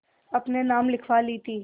अपने नाम लिखवा ली थी